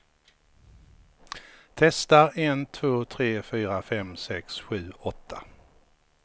Testar en två tre fyra fem sex sju åtta.